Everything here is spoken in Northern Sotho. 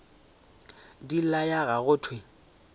di laya ga go thewe